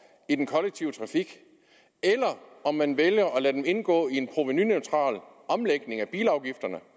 i den kollektive trafik eller om man vælger at lade den indgå i en provenuneutral omlægning af bilafgifterne